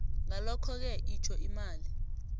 ngalokhoke itjho imali